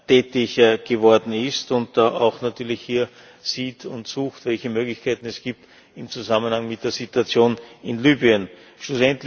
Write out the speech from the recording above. tätig geworden ist und da auch natürlich hier sieht und sucht, welche Möglichkeiten es im Zusammenhang mit der Situation in Libyen gibt.